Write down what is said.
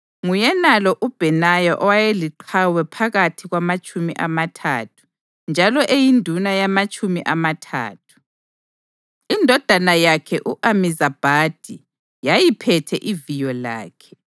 Nguyenalo uBhenaya owayeliqhawe phakathi kwamaTshumi amaThathu njalo eyinduna yamaTshumi amaThathu. Indodana yakhe u-Amizabhadi yayiphethe iviyo lakhe.